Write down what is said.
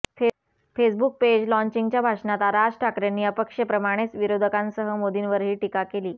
Facebook page लॉन्चिंगच्या भाषणात राज ठाकरेंनी अपक्षेप्रमाणेच विरोधकांसह मोदींवरही टीका केली